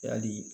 Yali